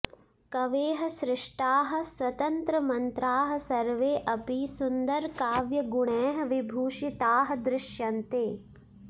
कवेः सृष्टाः स्वतन्त्रमन्त्राः सर्वे अपि सुन्दरकाव्यगुणैः विभूषिताः दृश्यन्ते